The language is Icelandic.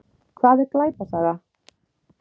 Hvað er glæpasaga?